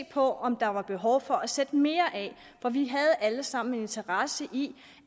på om der var behov for at sætte mere af for vi havde alle sammen en interesse i